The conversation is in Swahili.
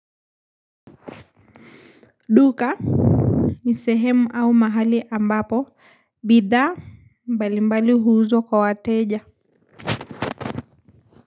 Duka nisehemu au mahali ambapo bidhaa mbalimbali huuzwa kwawateja.